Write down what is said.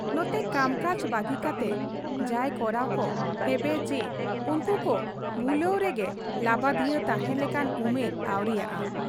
ᱱᱚᱛᱮ ᱠᱟᱢᱠᱟᱡᱽ ᱵᱟᱹᱜᱤ ᱠᱟᱛᱮ ᱡᱟᱭ ᱠᱚᱨᱟᱲ ᱠᱚ ᱦᱮᱵᱮ ᱪᱤ ᱩᱱᱠᱩ ᱠᱚ ᱠᱷᱩᱞᱟᱹᱣ ᱨᱮᱜᱮ ᱞᱟᱹᱵᱟᱹᱫᱷᱤᱭᱟᱹᱣ ᱛᱟᱦᱮᱸᱱ ᱞᱮᱠᱟᱱ ᱩᱢᱮᱨ ᱟᱹᱣᱨᱤᱭᱟᱜ ᱟ ᱾